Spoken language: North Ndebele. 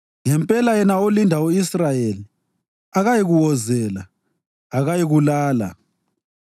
ngempela yena olinda u-Israyeli akayikuwozela, akayikulala.